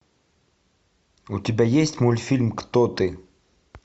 у тебя есть мультфильм кто ты